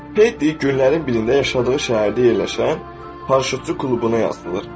Pedi günlərin birində yaşadığı şəhərdə yerləşən paraşütçü klubuna yazılır.